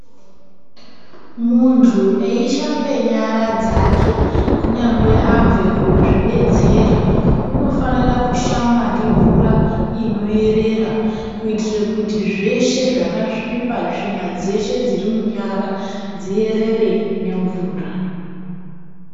Muntu eishambe nyara dzake kunyangwe abve kuzvidetsera, unofanire kushamba ngemvuraa inoyerera kuitire kuti zveshe zvakasvipaa tsvina dzeshe dziri munyara dzierere nemvuraa.